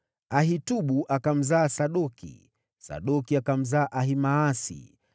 Ahitubu akamzaa Sadoki, Sadoki akamzaa Ahimaasi,